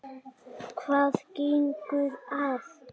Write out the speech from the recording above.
Hvað gengur að?